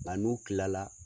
A n'u tila la